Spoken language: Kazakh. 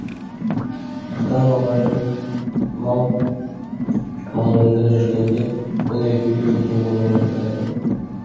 ата аналарым мал маңында жүргенде бұл екеуі үйде ойнап отырады